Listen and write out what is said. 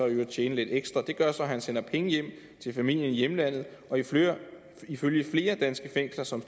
i øvrigt tjene lidt ekstra og det gør så at han sender penge hjem til familien i hjemlandet ifølge flere danske fængsler som